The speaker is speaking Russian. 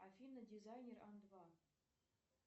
афина дизайнер ан два